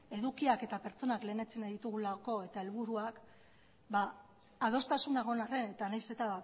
edukiak eta pertsonak lehenesten ditugulako eta helburuak adostasuna egon arren eta nahiz eta